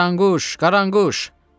Qaranquş, Qaranquş!